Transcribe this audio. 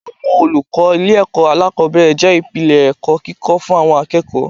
Àwọn olùkọ́ ilé ẹ̀kọ́ alákòbẹ̀rẹ̀ jẹ́ ìpìlẹ̀ ẹ̀kọ́ kíkó fún àwọn akẹ́kọ̀ọ́.